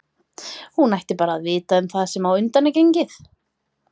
Hún ætti bara að vita um það sem á undan er gengið.